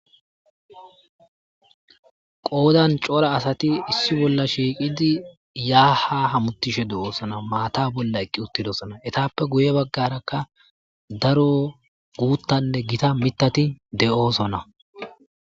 Qodan cora asati issi bola shiiqidi ya ha hamutishe deosona maththa bola eqidosona etappe guye bagaraka daro gutanne gita mitati deosona.